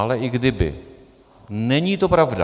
Ale i kdyby, není to pravda.